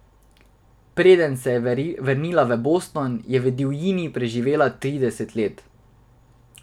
Preden se je vrnila v Boston, je v divjini preživela trideset let.